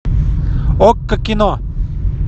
окко кино